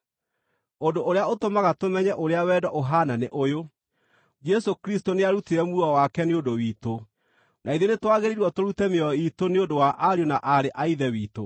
Ũndũ ũrĩa ũtũmaga tũmenye ũrĩa wendo ũhaana nĩ ũyũ: Jesũ Kristũ nĩarutire muoyo wake nĩ ũndũ witũ. Na ithuĩ nĩtwagĩrĩirwo tũrute mĩoyo iitũ nĩ ũndũ wa ariũ na aarĩ a Ithe witũ.